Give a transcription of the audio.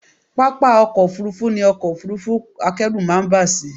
Pápá ọkọ́ Òfurufú ni ọkọ̀ Òfurufú akẹ́rù máa ń bà sí.